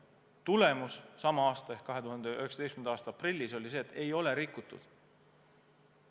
Tulemus 2019. aasta aprillis oli see, et ei ole rikutud.